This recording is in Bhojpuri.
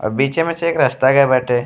बीचे में से एक रास्ता गई बाटे।